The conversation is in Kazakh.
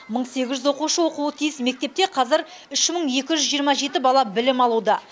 мың сегіз жүз оқушы оқуы тиіс мектепте қазір үш мың екі жүз жиырма жеті бала білім алуда